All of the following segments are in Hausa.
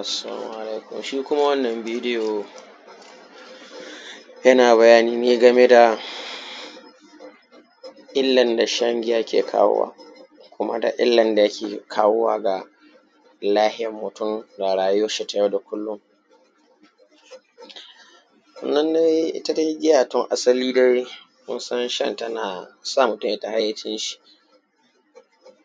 assalamu alaikum shi kuma wannan bideyo yanaƙ bayani ne game da illan da sha giya ke kawowa kuma da illan da yake kawowa ga lahiyan mutun da rayuwan shi ta yau da kullum itta giya tun asali munsan shanta nasa mutun ya fita hayyacin shi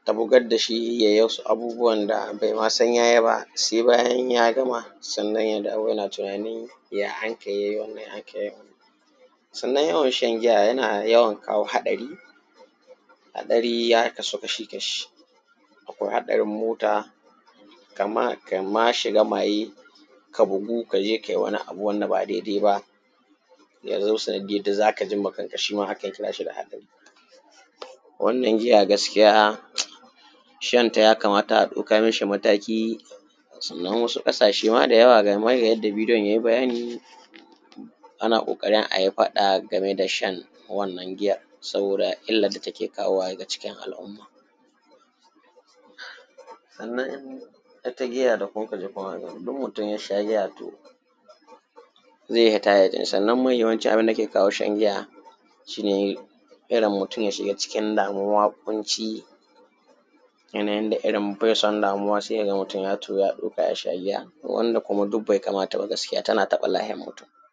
ta bugaddashi yai wasu abubuwan da baima san yayi ba sai bayan ya gama sannan yazo yana tunani ya ankai yai wanan ya akai yai wannan sannan yawan shan giya yana yawan kawo haddari hadari ya kasu kashi kashi akwai hadarin mota kama shiga maye ka bugu kaje kayi wani abu wanda ba dai dai ba ya zama sanadiyan da zakaji ma kanka shima akan kirashi da hadari wannan giya gaskiya um shanta yakamata a daukan mishi wani mataki sannan wasu kasashe da yawa gama yanda bideyon yai bayani ana kokarin ayi fada game da shan wannan giya saboda illa dake kawowa daga cikin al umma sannan itta giya da kukaji kun hada in mutun yasha giyator zai iyya hita hayyacin sa sannan mahi yawancin abunda ke kawo shan giya shine irrin mutun ya shiga cikin damuwa kunci yanayin da irrin bai son damuwa sai kaga mutun ya tahi ya tsotsa yasha giya wanda duk bai kamata ba gaskiya tanada bala’in